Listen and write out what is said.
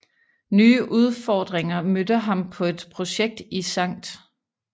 Nye udfordringer mødte ham på et projekt i St